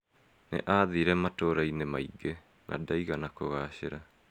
Nĩ aathire matũũra-inĩ maingĩ na ndaigana kũgaacĩra.